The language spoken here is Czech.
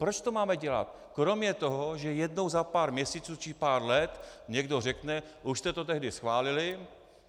Proč to máme dělat, kromě toho, že jednou za pár měsíců či pár let někdo řekne: už jste to tehdy schválili.